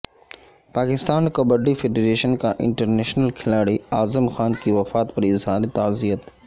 Pakistan kabaddi federation کا international کھلاڑی اعظم خان کی وفات پر اظہار تعزیت